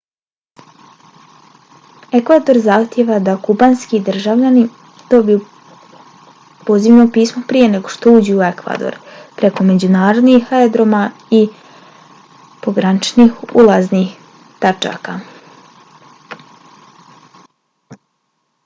ekvador zahtijeva da kubanski državljani dobiju pozivno pismo prije nego što uđu u ekvador preko međunarodnih aerodroma ili pograničnih ulaznih tačaka